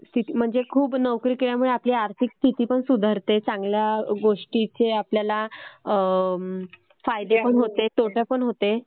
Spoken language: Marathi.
म्हणजे खूप नोकरी केल्याने आपली आर्थिक स्थिती पण सुधारते. चांगल्या गोष्टीचे आपल्याला फायदे पण होते तोटे पण होते,